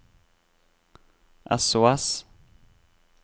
sos